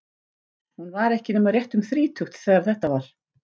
Hún var ekki nema rétt um þrítugt þegar þetta var.